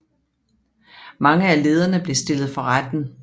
Mange af lederne blev stillet for retten